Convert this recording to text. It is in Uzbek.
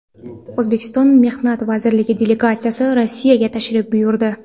O‘zbekiston Mehnat vazirligi delegatsiyasi Rossiyaga tashrif buyurdi.